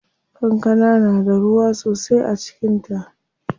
Kankana na da ruwa sosai a cikin ta.